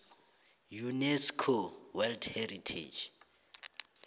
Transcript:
unesco world heritage